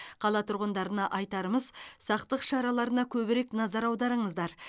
қала тұрғындарына айтарымыз сақтық шараларына көбірек назар аударыңыздар